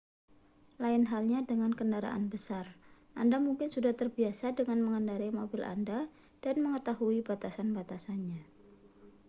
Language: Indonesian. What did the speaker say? lain halnya dengan kendaraan besar anda mungkin sudah terbiasa dengan mengendarai mobil anda dan mengetahui batasan-batasannya